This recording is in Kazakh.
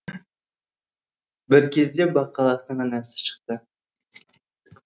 бір кезде бақалақтың анасы шықты